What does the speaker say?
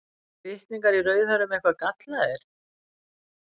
Eru litningar í rauðhærðum eitthvað gallaðir?